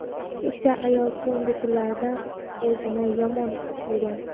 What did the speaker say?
keksa ayol so‘nggi kunlarda o‘zini yomon his qilgan.